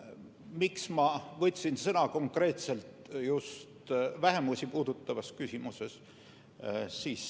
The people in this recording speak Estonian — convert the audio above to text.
Miks ma võtsin sõna konkreetselt just vähemusi puudutavas küsimuses?